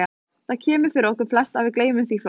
Það kemur fyrir okkur flest og við gleymum því fljótt.